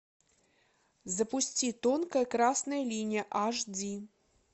запусти тонкая красная линия аш ди